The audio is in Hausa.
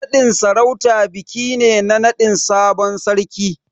Naɗin sarauta biki ne na naɗin sabon sarki.